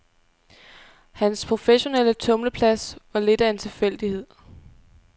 Hans professionelle tumleplads var lidt af en tilfældighed.